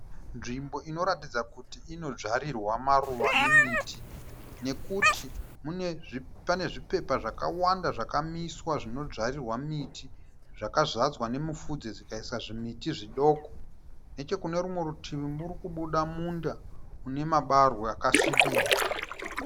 Nzvimbo inoratidza kuti inodzvarirwa maruva nemiti, nekuti mune zvi, pane zvipepa zvakawanda zvakamiswa zvinodzvarirwa miti, zvakazadzwa nemufudze zvikaisa zvimiti zvidoko, nechekune rumwe rutivi murikubuda munda mune mabarwe akasvibirira.